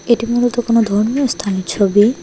এটি মূলত কোনো ধর্মীয় স্থানের ছবি।